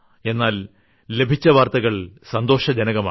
എന്നാൽ ലഭിച്ച വാർത്തകൾ സന്തോഷജനകമാണ്